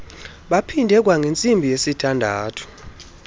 baphinde kwangentsimbi yesithandathu